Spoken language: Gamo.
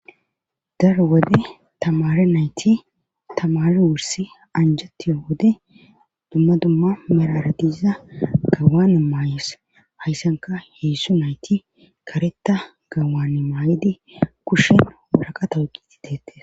dar wode tamare nayti tamare wursi anjatiyo wode dumma dumma meraradiza gawane maayes hayssanka heessu nayti kareta gawane maayedi kushen ourhaqa towqi ti deete